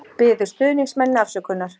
Biður stuðningsmennina afsökunar